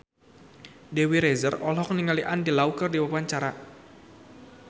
Dewi Rezer olohok ningali Andy Lau keur diwawancara